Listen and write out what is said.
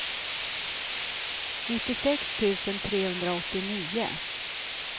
nittiosex tusen trehundraåttionio